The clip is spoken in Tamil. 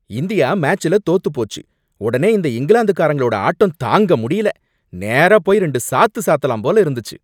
இந்தியா மேட்ச்ல தோத்துப் போச்சு. உடனே இந்த இங்கிலாந்துகாரங்களோட ஆட்டம் தாங்க முடியல. நேரா போய் ரெண்டு சாத்து சாத்தலாம் போல இருந்துச்சு.